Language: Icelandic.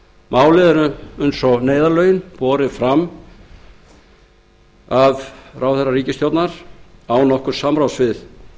málið er eins og neyðarlögin borið fram af viðskiptaráðherra án samráðs við